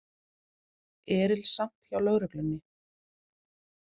Erilsamt hjá lögreglunni